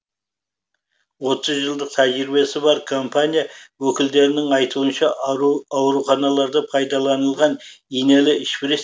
отыз жылдық тәжірибесі бар компания өкілдерінің айтуынша ауруханаларда пайдалынылған инелі шприц